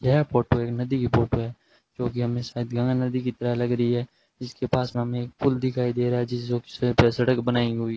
यह फोटो एक नदी की फोटो है जोकि हम इस शायद गंगा नदी की तरह लग रही है जिसके पास हमेने एक पुल दिखाई दे रहा है जिसे जो शायद सड़क बनाई हुई --